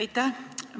Aitäh!